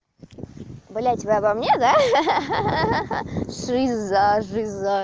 блядь вы обо мне да ха-ха жиза жиза